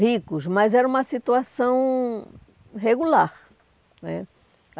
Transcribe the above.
ricos, mas era uma situação regular né.